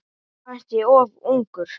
Henni fannst ég of ungur.